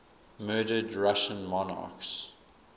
murdered russian monarchs